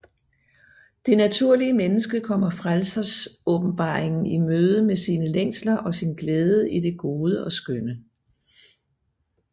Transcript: Det naturlige menneske kommer frelsesåbenbaringen i møde med sine længsler og sin glæde i det gode og skønne